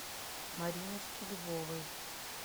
мариночке львовой